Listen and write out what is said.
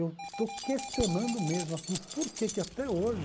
Eu estou questionando mesmo assim o porquê que que até hoje...